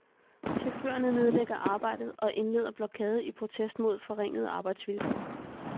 Chaufførerne nedlægger arbejdet og indleder blokade i protest mod forringede arbejdsvilkår.